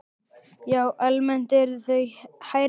Já, almennt eru þau hærri.